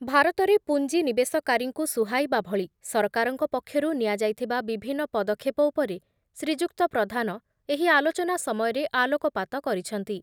ଭାରତରେ ପୁଞ୍ଜିନିବେଶକାରୀଙ୍କୁ ସୁହାଇବା ଭଳି ସରକାରଙ୍କ ପକ୍ଷରୁ ନିଆଯାଇଥିବା ବିଭିନ୍ନ ପଦକ୍ଷେପ ଉପରେ ଶ୍ରୀଯୁକ୍ତ ପ୍ରଧାନ ଏହି ଆଲୋଚନା ସମୟରେ ଆଲୋକପାତ କରିଛନ୍ତି ।